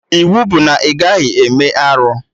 Iwu bụ na ị gaghị eme arụ!